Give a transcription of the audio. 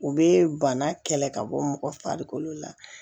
U bɛ bana kɛlɛ ka bɔ mɔgɔ farikolo la